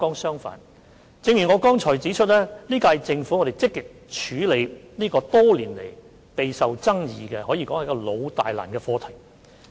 相反，正如我剛才指出，本屆政府積極處理這個多年來備受爭議的老大難課題。